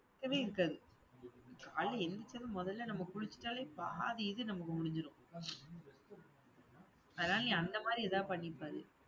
இருக்கவே இருக்காது காலையில எந்திரிச்சதும் முதல்ல நம்ம குளிச்சிட்டாலே, பாதி இது நமக்கு முடிஞ்சிரும். அதனால நீ அந்த மாதிரி இதா பண்ணிப்பாரு